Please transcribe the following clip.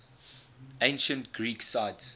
ancient greek sites